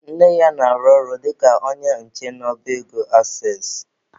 Nna ya na-arụ ọrụ dịka onye nche n'ọba ego Aksess.